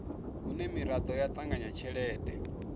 hune miraḓo ya ṱanganya tshelede